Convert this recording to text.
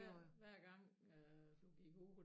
Ja hver gang øh du gik ud